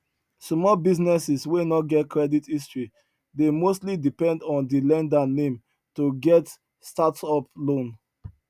small businesses wey no get credit history dey mostly depend on di lender name to get stsrtup loan